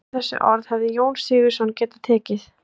Undir þessi orð hefði Jón Sigurðsson getað tekið.